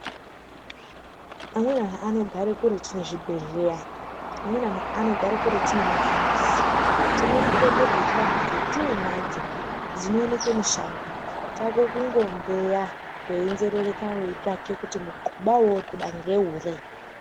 Kune anogare kuretu nezvibhedhleya amweni antu anogare kuretu nemafamasi tine mutombo dzechianhu dzetiinadzo dzinooneke mushango chako kunho mbeya weinzerereka weitsvake kuti muthuba weuri kuda ngeuri.